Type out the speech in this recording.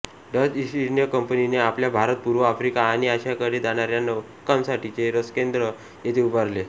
Dutch East India कंपनीने आपल्या भारत पूर्व आफ्रिका आणि आशियाकडे जाणाऱ्या नौकांसाठीचे रसदकेंद्र येथे उभारले